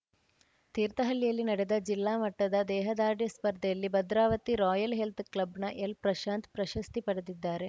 ತೀರ್ಥಹಳ್ಳಿಯಲ್ಲಿ ನಡೆದ ಜಿಲ್ಲಾ ಮಟ್ಟದ ದೇಹದಾಢ್ರ್ಯ ಸ್ಪರ್ಧೆಯಲ್ಲಿ ಭದ್ರಾವತಿ ರಾಯಲ್‌ ಹೆಲ್ತ್‌ ಕ್ಲಬ್‌ನ ಎಲ್‌ಪ್ರಶಾಂತ್‌ ಪ್ರಶಸ್ತಿ ಪಡೆದಿದ್ದಾರೆ